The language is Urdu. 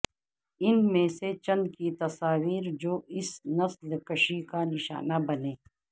ان میں سے چند کی تصاویر جو اس نسل کشی کا نشانہ بنے